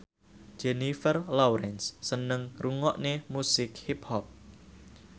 Jennifer Lawrence seneng ngrungokne musik hip hop